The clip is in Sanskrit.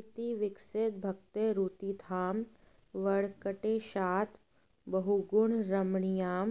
इति विकसित भक्तेरुत्थितां वेङ्कटेशात् बहुगुण रमणीयां